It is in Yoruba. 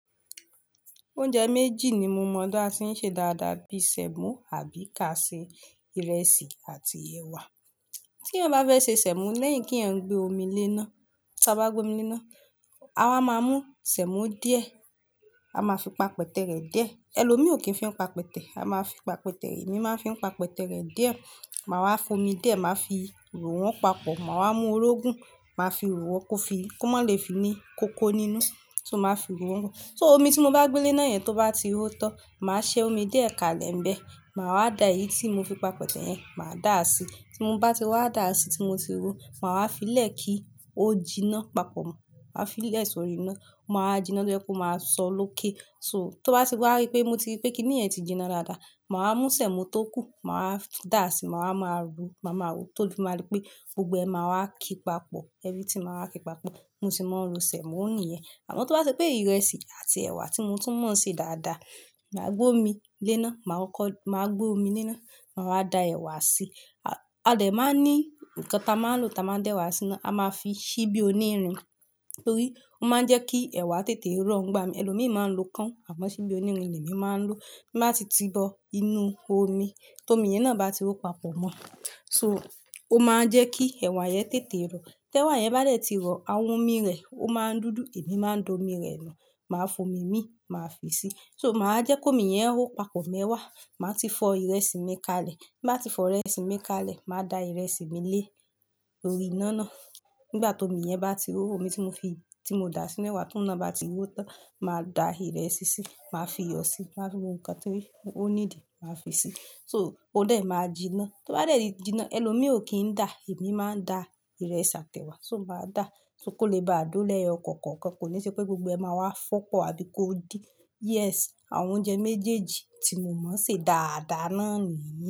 Oúnjẹ méjì ní mó mọ̀ báà sé ń ṣe dáadáa, bí i sẹ̀mọ́ àbí káà ṣè, ìrẹsì àti ẹ̀wà. Tí ẹ bá fẹ́ ṣe sẹ̀mọ́ lẹ́yìn kí ẹ gbé ómí lé náà, tí á bá gbé ómí lé náà, a máa mú sẹ̀mọ́ díẹ̀, a máa fi pápó tẹ̀ rẹ̀ díẹ̀. Ẹ̀lọ́mi ò kí ń fi papẹ́tẹ̀, a máa fi papẹ́tẹ̀, èmi máa ń fi papẹ́tẹ̀ rẹ̀ díẹ̀. Màá wá fó ómí díẹ̀, màá fi ì ró wọn papọ̀, màá wá mú orógùn màá fi ì ró wọn kó fi kó má lè fí ní kókó nínú, ṣé o máa fi ìró wọn? So ómí tí mó bá gbé lé náà yẹn tó bá ti hó tán, màá ṣe ómí díẹ̀ kalẹ̀ ń bẹ, màá wá dá èyí tí mó fí papẹ́tẹ̀ yẹn, màá dà á sí. Tí mó bá ti wá dà á sí tí mo tí ró, màá wá fi í lẹ̀ kí ó jiná papọ̀ mọ́. Màá fi í lẹ̀ sórí iná, ó máa jiná ló jẹ́ kó máa sọ lókè. So tó bá ti wá rí pé mo ti rí pé kí nìyẹn ti jiná dáadáa, màá mú sẹ̀mọ́ tó kù, màá dà á sí, màá máa ro, màá máa ro tóbí màá rí pé gbogbo ẹ máa wá kí pápọ̀, everything màá wá kí pápọ̀, mó sì máa ń ró sẹ̀mọ́ nìyẹn. Àmọ́ tó bá ṣe pé ìrẹsì àti ẹ̀wà tí mo tún mọ̀ ń ṣe dáadáa, màá gbé omi lé náà, màá kọ́, màá gbé omi lé náà, màá wá da ẹ̀wà sí. A dè máa ní nǹkan tá a máa lò tá a máa dẹ ẹ̀wà sí náa, a máa fí ṣíbí onírin. Nítorí ó máa ń jẹ́ kí ẹ̀wà tètè rọ̀ ń bá mi. Ẹ̀lọ́mi ò kí ń máa ń lo káń, àmọ́ ṣíbí oní irin èmi máa ń lò. Bí màá ti tibọ inú omi, tí omi yẹn náà bá ti hó papọ̀ mọ́. So ó máa ń jẹ́ kí ẹ̀wà yẹn tètè rọ̀. Tí ẹ̀wà yẹn bá lè ti rọ̀, àwọn omi rẹ̀ ó máa ń dúdú, èmi máa ń da omi rẹ̀ nù, màá fomi mí, màá fi í sí. So màá jẹ́ kó mi yẹn hó papọ̀ mẹ́wàá, màá ti fọ ìrẹsì mi kalẹ̀. Bí màá ti fọ ìrẹsì mi kalẹ̀, màá da ìrẹsì mi lé orí iná náà. Nígbà tí omi yẹn bá ti hó, omi tí mo fi, tí mo dà sínú ẹ̀wà tún iná bá ti hó tó, màá da ìrẹsì sí, màá fi iyọ̀ sí, màá fí òhún kàn tó rí, ó ní ìdí, màá fi sí. So ó lè máa jiná. Tó bá lè ri jiná, ẹ̀lọ́mi ò kí ń dà, èmi máa ń dà ìrẹsì àti ẹ̀wà. So màá dà á só kó lè bá a dúró lẹ́ẹ̀ọ kọ̀ọ̀kan kọ̀ọ̀kan, kò ní ṣe pé gbogbo ẹ máa wá fọ́pọ̀ àbí kó din. Yes, àwọn oúnjẹ méjèèjì tí mo mọ̀ ń ṣe dáadáa náà nìyẹn.